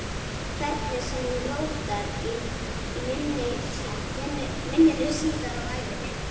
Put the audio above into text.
Hvernig sem hún rótar í minninu síðar á ævinni.